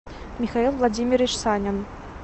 михаил владимирович санин